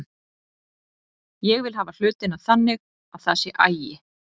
Ég vil hafa hlutina þannig að það sé agi.